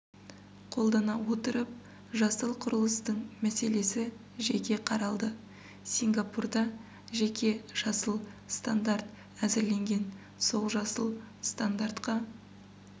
қолдана отырып жасыл құрылыстың мәселесі жеке қаралды сингапурда жеке жасыл стандарт әзірленген сол жасыл стандартқа